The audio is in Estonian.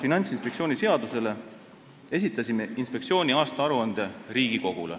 Finantsinspektsiooni seaduse alusel esitasime Riigikogule inspektsiooni aastaaruande.